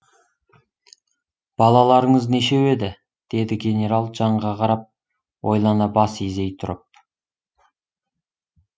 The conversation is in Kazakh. балаларыңыз нешеу еді деді генерал жанға қарап ойлана бас изей тұрып